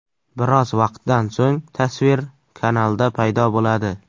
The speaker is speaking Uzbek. Biroz vaqtdan so‘ng tasvir kanalda paydo bo‘ladi.